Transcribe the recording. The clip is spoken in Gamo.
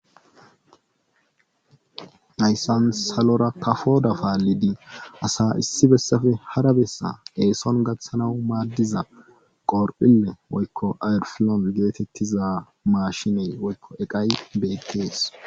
Hayssan salora kafoda paalidi asa issi bessafe hara bessa eeson gaththanawu maaddiza qorpile woykko ayrfilon geetettiza maashinee woykko eqay beettees.